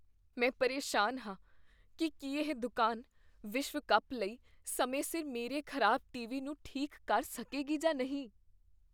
ਮੈਂ ਪਰੇਸ਼ਾਨ ਹਾਂ ਕੀ ਕੀ ਇਹ ਦੁਕਾਨ ਵਿਸ਼ਵ ਕੱਪ ਲਈ ਸਮੇਂ ਸਿਰ ਮੇਰੇ ਖ਼ਰਾਬ ਟੀਵੀ ਨੂੰ ਠੀਕ ਕਰ ਸਕੇਗੀ ਜਾਂ ਨਹੀਂ।